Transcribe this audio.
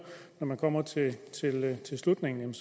kommer til slutningen